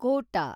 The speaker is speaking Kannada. ಕೋಟ